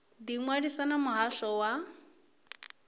ḓi ṅwalisa na muhasho wa